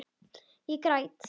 Ég græt.